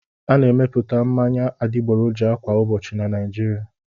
A na-emepụta mmanya adịgboroja kwa ụbọchị na Naịjirịa.